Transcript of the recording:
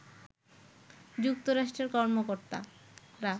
যুক্তরাষ্ট্রের কর্মকর্তারা